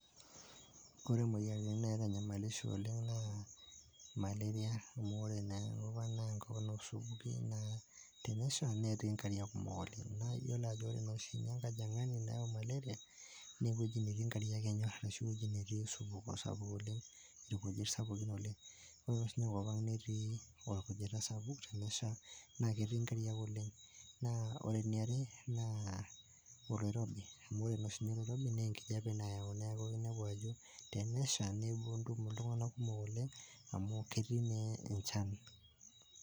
Ore imoyiaritin naitanyamalisho oleng' naa Malaria amu ore naa enkop naa enkop oosupuki naa tensha naa ketii inkarriak oleng' naa iyiolo ajo ore naa oshi ninye enkajang'ani naa ewuwji netii inkarriak enyorr ashu ewueji netii osupuko sapuk oleng', irkujit sapukin oleng' ore siniye enkop ang' netii orkujita sapuk, tenesha naa ketii inkarriak oleng' . N aa ore eniare naa oloirobi amu ore naa oshi sinye oloirobi naa enkijiape nayau neeku tenesha neeku ketum iltung'anak kumok oleng' amu ketii naa enchan.